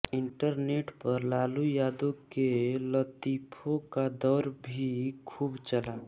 internet पर लालू यादव के लतीफों का दौर भी खूब चला